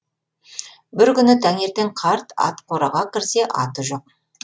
бір күні таңертең қарт ат қораға кірсе аты жоқ